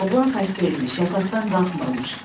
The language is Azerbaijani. Oğlan xəstə imiş, yataqdan qalxmırmış.